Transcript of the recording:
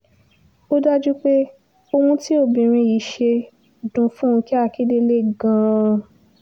ó dájú pé ohun tí obìnrin yìí ṣe dún fúnkẹ́ akíndélé gan-an